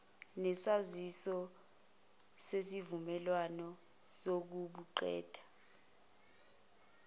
nesaziso ngesivumelwano sokubuqeda